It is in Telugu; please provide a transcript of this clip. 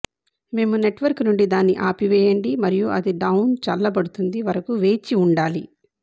మేము నెట్వర్క్ నుండి దాన్ని ఆపివేయండి మరియు అది డౌన్ చల్లబడుతుంది వరకు వేచి ఉండాలి